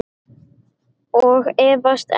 Og efast enn.